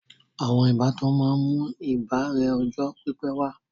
Àwọn ìbátan máa ń mú ìbárẹ́ ọjọ́ pípé wà